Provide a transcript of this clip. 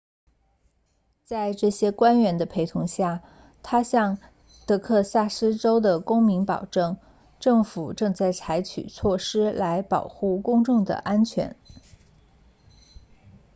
在这些官员的陪同下他向德克萨斯州的公民保证政府正在采取措施来保护公众的安全